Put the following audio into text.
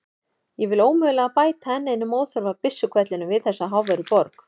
Ég vilji ómögulega bæta enn einum óþarfa byssuhvellinum við þessa háværu borg.